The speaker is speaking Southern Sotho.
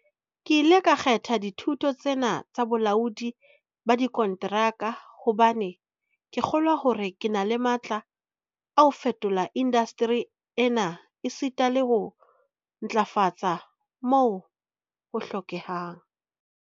Ke ile ka kgetha dithuto tsena tsa bolaodi ba dikonteraka hobane ke kgolwa hore ke na le matla a ho fetola indasteri ena esita le ho e ntlafatsa moo ho hlokehang.